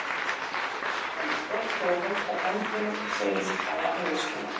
Hann er stoltur að halda bandinu og segist hafa reynsluna.